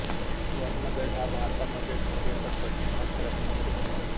वर्णभेद हा भारतामध्येच नव्हे तर पश्चिमात्य राष्ट्रांमध्ये होता